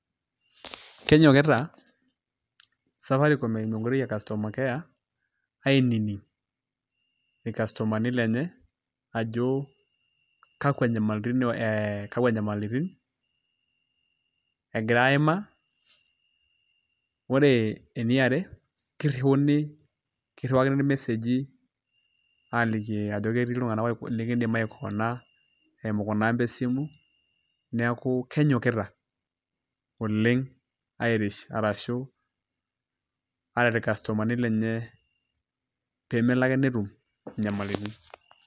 Kenyikita Safaricom eimu enkoitoi e customer care ainining irkastomani lenye ajo kakwa nyamalitin egira aimaa ore eniare kiriuni irmeseji ajoki etii ltunganak likindim aikona eimu kuna amba esimu, neaku kenyokita oleng airish ashu ayaki rkastomani lenye pemelo ake netum nyamalitin.